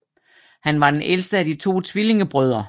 Han er den ældste af de to tvillingebrødre